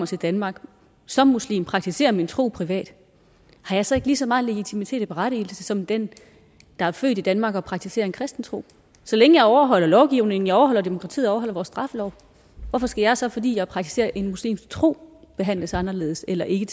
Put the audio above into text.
til danmark som muslim og praktiserer min tro privat har jeg så ikke lige så meget legitimitet og berettigelse som den der er født i danmark og praktiserer en kristen tro så længe jeg overholder lovgivningen overholder demokratiet og overholder vores straffelov hvorfor skal jeg så fordi jeg praktiserer en muslimsk tro behandles anderledes eller ikke